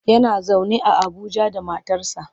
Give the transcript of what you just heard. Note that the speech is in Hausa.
Yana zaune a Abuja da matarsa.